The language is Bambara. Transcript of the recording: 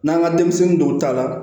N'an ka denmisɛnnin dɔw ta la